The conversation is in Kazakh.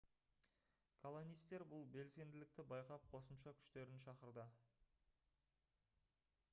колонистер бұл белсенділікті байқап қосымша күштерін шақырды